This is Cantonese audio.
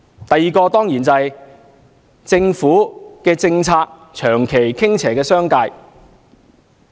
第二，政府政策長期傾斜於商界。